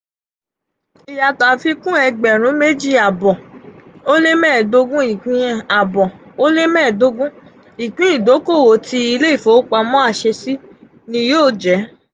iyato afikun ẹgbẹrun meji aabo ó lé mẹ́ẹ̀ẹ́dógún ipin aabo ó lé mẹ́ẹ̀ẹ́dogun ipin idokowo ti ile ifowopamọ aṣesi ni yoo jẹ.